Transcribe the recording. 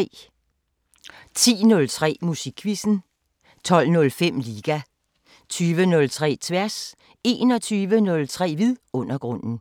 10:03: Musikquizzen 12:05: Liga 20:03: Tværs 21:03: Vidundergrunden